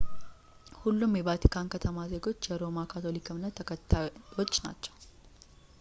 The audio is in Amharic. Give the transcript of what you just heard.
ሁሉም የቫቲካን ከተማ ዜጎች የሮማ ካቶሊክ እምነት ተከታዮች ናቸው